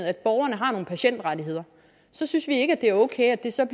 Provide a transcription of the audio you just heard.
at borgerne har nogle patientrettigheder så synes vi ikke det er okay at det så